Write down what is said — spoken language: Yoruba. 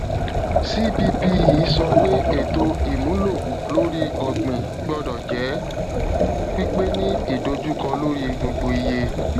cppe sọ pé ètò ìmúlò lórí ọgbìn gbọdọ jẹ pípé ní idojukọ lórí gbogbo iye